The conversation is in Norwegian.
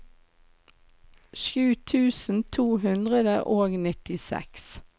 sju tusen to hundre og nittiseks